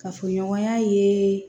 Kafoɲɔgɔnya ye